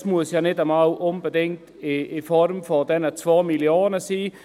Es muss ja nicht einmal unbedingt in Form von diesen 2 Mio. Franken sein.